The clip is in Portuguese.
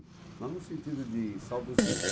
Não no sentido de saudosismo.